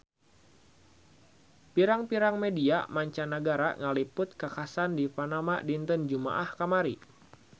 Pirang-pirang media mancanagara ngaliput kakhasan di Panama dinten Jumaah kamari